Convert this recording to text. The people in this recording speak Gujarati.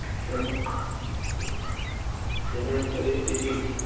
સમાન પરિસ્થિતિ